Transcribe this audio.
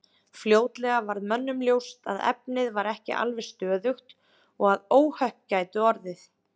Fljótlega varð mönnum ljóst að efnið var ekki alveg stöðugt og að óhöpp gætu orðið.